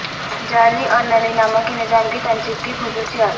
جعلی اور نلی نما کے نظام کی تنصیب کی خصوصیات